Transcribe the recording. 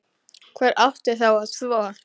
Hver átti þá að þvo?